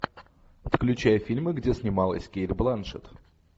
включай фильмы где снималась кейт бланшетт